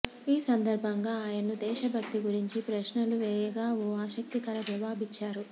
ఈ సందర్భంగా ఆయన్ను దేశభక్తి గురించి ప్రశ్నలు వేయగా ఓ ఆసక్తికర జవాబిచ్చారు